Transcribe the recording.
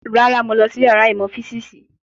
Rárá, mo lọ sí yàrá ìmọ̀ físìsì